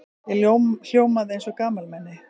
Ég hljómaði eins og gamalmenni.